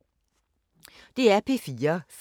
DR P4 Fælles